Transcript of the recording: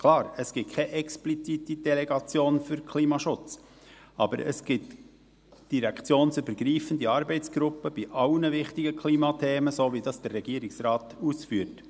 Klar, es gibt keine explizite Delegation für Klimaschutz, aber es gibt direktionsübergreifende Arbeitsgruppen zu allen wichtigen Klimathemen, so wie es der Regierungsrat ausführt.